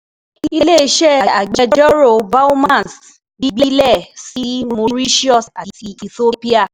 Ile-iṣẹ Agbẹjọro Bowmans gbilẹ si Mauritius ati Ethiopia